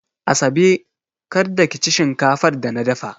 Asabe, kar da ki ci shinkafar da na dafa!